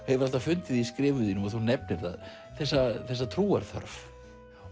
hefur alltaf fundið í skrifum þínum og þú nefnir það þessa þessa trúarþörf